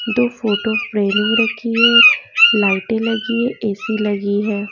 दो photo framing रखी है लाइटें लगी है एसी लगी है।